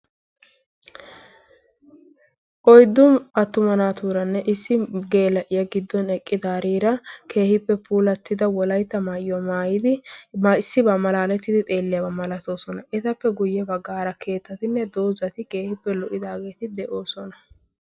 oyddu attuma naatuuranne issi geela'o giddon eqqi daariira keehiippe puulattida wolayta maayyo aaa issibaa malaalettidi xeelliyaabaa malatoosona. etappe guyye baggaara keettatinne doozati keehiippe lo'i daageeti de'oosona.